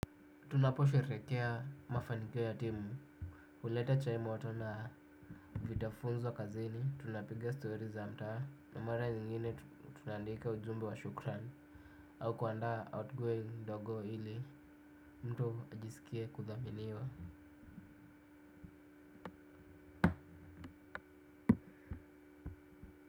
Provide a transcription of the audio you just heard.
Tunaposherehekea mafaniko ya timu huleta chai moto na vitafunzo kazini, tunapigia story za mtaa. Na mara nyingine tunaandika ujumbe wa shukrani. Au kuandaa outgoing ndogo ili, mtu ajisikie kuthaminiwa.